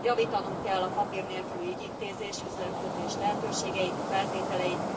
Javítanunk kell a papír nélküli ügyintézés, üzletkötés lehetőségei, feltételeit.